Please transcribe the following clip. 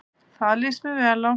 Það líst mér vel á.